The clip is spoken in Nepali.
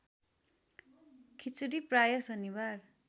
खिचडी प्रायः शनिबार